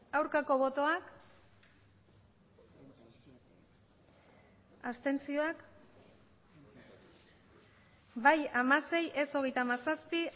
aurkako botoak abstentzioak bai hamasei ez hogeita hamazazpi